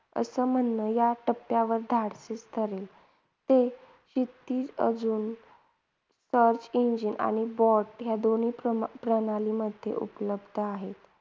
असं म्हणणं या टप्प्यावर धाडसी ठरेल. ते अजून Search Engine आणि BOT या प्रमा प्रमाणमध्ये उपलब्ध आहे.